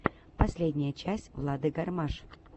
последняя часть влады гармаш